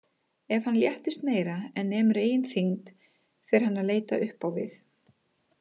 Ef hann léttist meira en nemur eigin þyngd fer hann að leita upp á við.